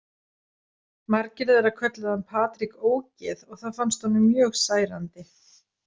Margir þeirra kölluðu hann Patrik ógeð og það fannst honum mjög særandi.